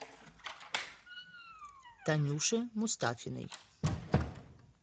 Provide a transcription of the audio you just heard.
танюше мустафиной